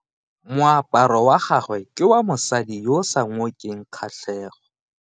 Moaparo wa gagwe ke wa mosadi yo o sa ngokeng kgatlhego.